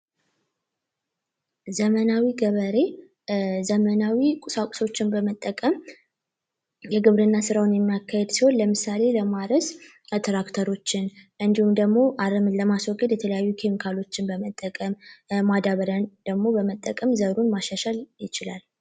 ዘመናዊ ገበሬ ዘመናዊ ቁሳቁሶችን በመጠቀም የግብርና ስራውን የማካሄድ ሰው ለምሳሌ ለማርስ እንዲሁም ደግሞ ለማስወገድ የተለያዩ ካሎችን በመጠቀም ማዳበሪያን ደሞ በመጠቀም ዘሩን ማሻሻል ይችላል